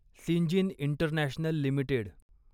Syngene International limited